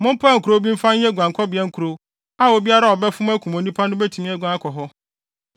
mompaw nkurow bi mfa nyɛ guankɔbea nkurow a, obiara a ɔbɛfom akum onipa no betumi aguan akɔ hɔ.